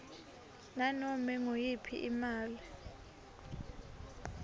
nanome nguyiphi imali